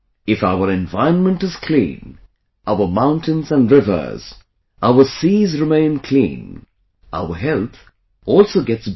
If our environment is clean, our mountains and rivers, our seas remain clean; our health also gets better